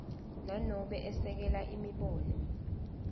nanobe esekela imibono